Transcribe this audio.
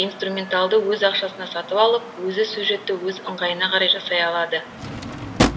инструменталды өз ақшасына сатып алып өзі сюжетті өз ыңғайына қарай жасай алады